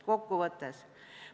Kokkuvõtteks.